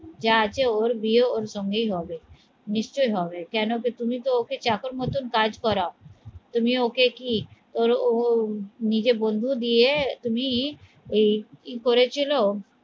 যা আছে ওর বিয়ে ওর সঙ্গেই হবে নিশ্চয়ই হবে কেন কি তুমি তো ওকে চাকর মতন কাজ করাও তুমি ওকে কি ও নিজের বন্ধু দিয়ে তুমি এই করেছিল